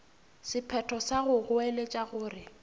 sephetho sa go goeletša gore